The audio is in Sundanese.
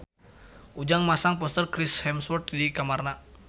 Ujang masang poster Chris Hemsworth di kamarna